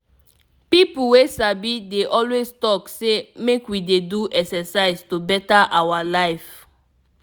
people wey sabi dey always talk say make we dey do exercise to better our life.